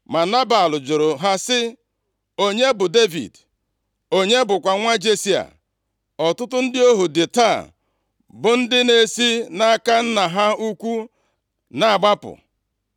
Ma Nebal jụrụ ha sị, “Onye bụ Devid? Onye bụkwa nwa Jesi a? Ọtụtụ ndị ohu dị taa bụ ndị na-esi nʼaka nna ha ukwu na-agbapụ.